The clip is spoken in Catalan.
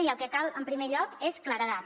i el que cal en primer lloc és claredat